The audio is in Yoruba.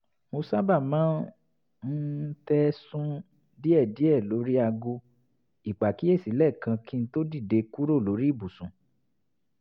mo sábà máa ń um tẹ sun-un díẹ̀díẹ̀ lórí aago ìpàkíyèsí lẹ́ẹ̀kan kí n tó dìde kúrò lórí ibùsùn